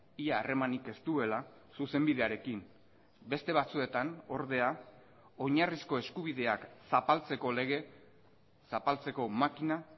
ia harremanik ez duela zuzenbidearekin beste batzuetan ordea oinarrizko eskubideak zapaltzeko lege zapaltzeko makina